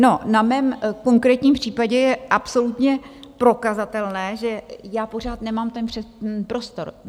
No, na mém konkrétním případě je absolutně prokazatelné, že já pořád nemám ten prostor.